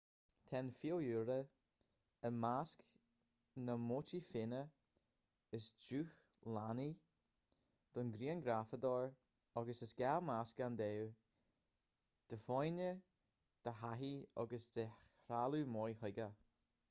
tá an fiadhúlra i measc na móitífeanna is dúshlánaí don ghrianghrafadóir agus is gá meascán d'ádh d'fhoighne de thaithí agus de threalamh maith chuige